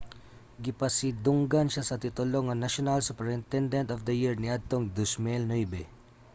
gipasidunggan siya sa titulo nga national superintendent of the year niadtong 2009